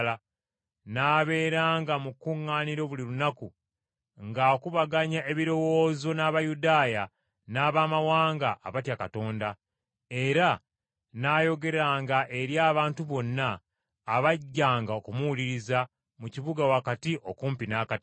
N’abeeranga mu kkuŋŋaaniro buli lunaku ng’akubaganya ebirowoozo n’Abayudaaya n’Abamawanga abatya Katonda, era n’ayogeranga eri abantu bonna abajjanga okumuwuliriza mu kibuga wakati okumpi n’akatale.